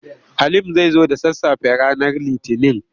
Halim zai zo da sassafe ranar Litinin.